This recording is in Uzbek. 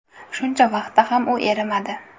Shuncha vaqtda ham u erimadi.